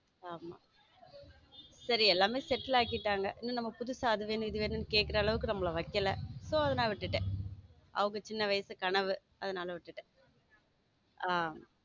ஆமா சரி எல்லாமே settle ஆகிட்டாங்க நம்ம புதுசா அது வேணும் இது வேணும்னா கேக்குற அளவுக்கு நம்மள வைக்கல so அதனால விட்டுட்டேன் அவங்க சின்ன வயசு கனவு அதனால விட்டுட்டேன் ஆமா.